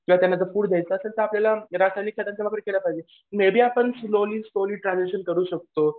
किंवा त्यांना जर फूड द्यायचं असेल तर आपल्याला रासायनिक खतांचा वापर केला पाहिजे. मी बी आपण स्लोली स्लोली ट्रांझॅक्शन करू शकतो